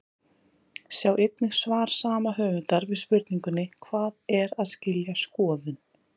Sjá einnig svar sama höfundar við spurningunni Hvað er að skilja skoðun?